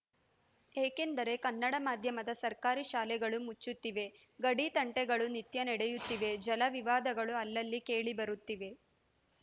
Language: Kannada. ಏಕೆಂದರೆ ಕನ್ನಡ ಮಾಧ್ಯಮದ ಸರ್ಕಾರಿ ಶಾಲೆಗಳು ಮುಚ್ಚುತ್ತಿವೆ ಗಡಿ ತಂಟೆಗಳು ನಿತ್ಯ ನಡೆಯುತ್ತಿವೆ ಜಲ ವಿವಾದಗಳು ಅಲ್ಲಲ್ಲಿ ಕೇಳಿಬರುತ್ತಿವೆ